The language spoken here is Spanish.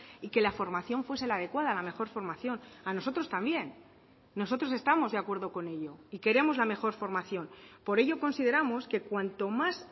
y que la formación fuese la adecuada la mejor formación a nosotros también nosotros estamos de acuerdo con ello y queremos la mejor formación por ello consideramos que cuanto más